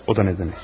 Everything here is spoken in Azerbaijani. O da nə demək?